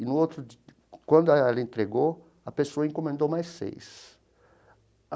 E no outro dia, quando ela entregou, a pessoa encomendou mais seis.